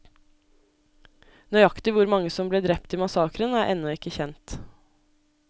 Nøyaktig hvor mange som ble drept i massakren, er ennå ikke kjent.